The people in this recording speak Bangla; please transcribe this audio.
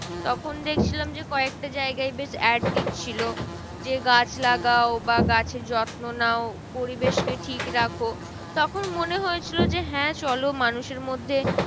তখন দেখছিলাম যে কয়েকটা জায়গায় বেশ add দিচ্ছিলো যে, গাছ লাগাও বা গাছের যত্ন নাও পরিবেশ কে ঠিক রাখো। তখন মনে হয়েছিল যে, হ্যাঁ চলো মানুষের মধ্যে